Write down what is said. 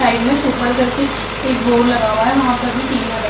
side में ऊपर कर के एक बोर्ड लगा हुआ है वहाँ पर भी टीवीयाँ लगी --